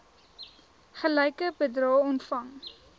gelyke bedrae ontvang